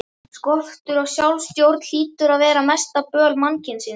Skortur á sjálfsstjórn hlýtur að vera mesta böl mannkyns.